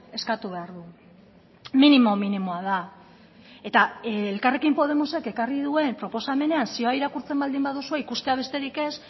eskatu behar du minimo minimoa da eta elkarrekin podemosek ekarri duen proposamenean zioa irakurtzen baldin baduzue ikustea besterik ez